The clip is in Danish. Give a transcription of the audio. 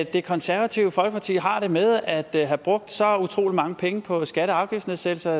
det konservative folkeparti har det med at have brugt så utrolig mange penge på skatte og afgiftsnedsættelser